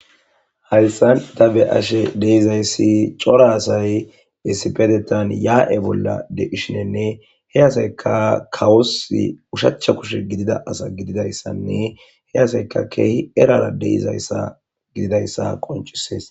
Hayisan ta be ashe deizayssi coora asay bissipedetan yaa'e bolla deishinenne he asayka kawosi ushachcha kushe gidida asa gididayssanne he asayka keehi erara deizayssa gididayssa qoncisees